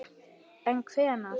En hvenær?